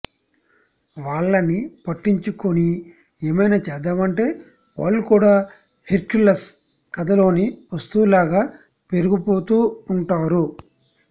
వాళ్లని పట్టించుకొని ఏమైనా చేద్దామంటే వాళ్లు కూడా హెర్క్యులస్ కథలోని వస్తువులాగా పెరిగిపోతూ ఉంటారు